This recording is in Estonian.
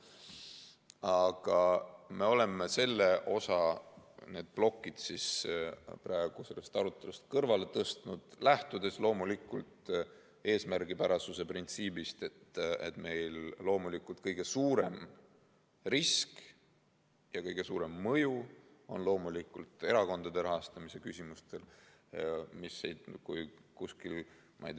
Aga me oleme selle osa, need plokid praegu sellest arutelust kõrvale tõstnud, lähtudes loomulikult eesmärgipärasuse printsiibist, sellest, et kõige suurem risk on seotud erakondade rahastamise küsimustega ja nendel on ka kõige suurem mõju.